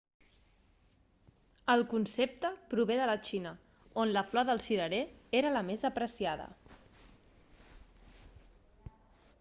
el concepte prové de la xina on la flor del cirerer era la més apreciada